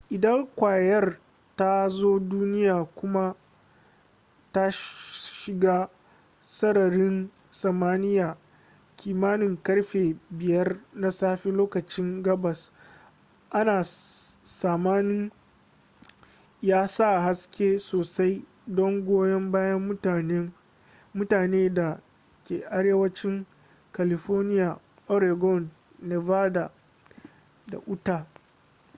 idan kwayar ta zo duniya kuma ta shiga sararin samaniya kimanin karfe 5 na safelokacin gabas ana tsamanin ya sa haske sosai don goyon bayan mutane da ke arewancin california oregon nevada da utah